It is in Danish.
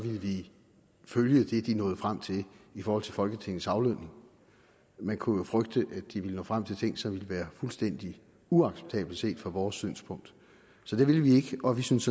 ville følge det de nåede frem til i forhold til folketingets aflønning man kunne jo frygte at de ville nå frem til ting som ville være fuldstændig uacceptable set fra vores synspunkt så det ville vi ikke og vi synes